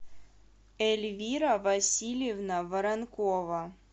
эльвира васильевна воронкова